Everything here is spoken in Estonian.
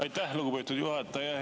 Aitäh, lugupeetud juhataja!